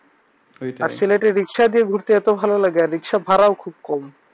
সিলেটের রিক্সা দিয়ে ঘুরতে এতো ভালো লাগে। আর রিক্সা ভাড়া ও অনেক কম।